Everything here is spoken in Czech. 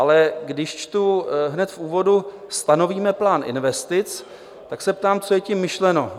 Ale když čtu hned v úvodu "stanovíme plán investic", tak se ptám, co je tím myšleno?